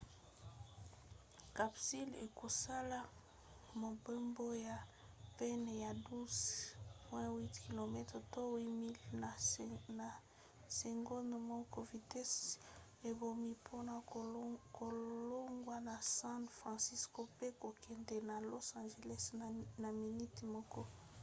capsule ekosala mobembo ya pene ya 12,8 km to 8 miles na segonde moko vitese ebongi mpona kolongwa na san francisco mpe kokende na los angeles na miniti moko